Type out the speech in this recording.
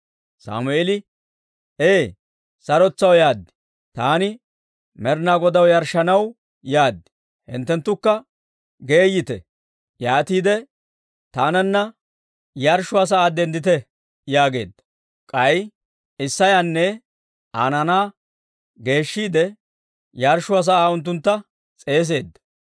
Sammeeli, «Ee; sarotetsaw yaad; taani Med'inaa Godaw yarshshanaw yaad; hinttenttukka geeyite; yaatiide taananna yarshshuwaa sa'aa denddite» yaageedda; k'ay Isseyanne Aa naanaa geeshshiide, yarshshuwaa sa'aa unttuntta s'eeseedda.